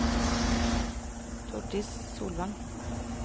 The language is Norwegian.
Tordis Solvang